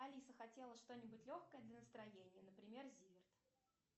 алиса хотела что нибудь легкое для настроения например зиверт